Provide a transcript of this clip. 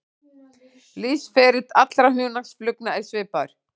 Lífsferill allra hunangsflugna er svipaður.